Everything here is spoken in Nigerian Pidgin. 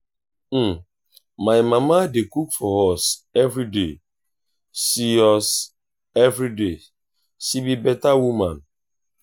my mama dey cook for us everyday she us everyday she be beta woman.